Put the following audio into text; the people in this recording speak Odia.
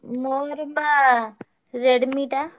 ମୋର ବା Redmi ଟା।